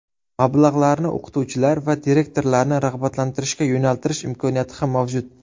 Mablag‘larni o‘qituvchilar va direktorlarni rag‘batlantirishga yo‘naltirish imkoniyati ham mavjud.